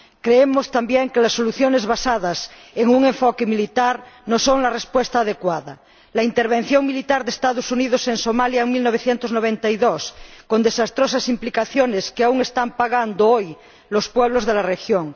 Creemos también que las soluciones basadas en un enfoque militar no son la respuesta adecuada la intervención militar de Estados Unidos en Somalia en 1992, con desastrosas implicaciones que aún están pagando hoy los pueblos de la región